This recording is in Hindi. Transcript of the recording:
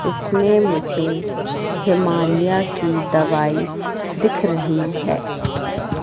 इसमें मुझे हिमालया की दवाई दिख रही है।